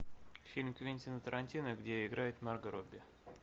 фильм квентина тарантино где играет марго робби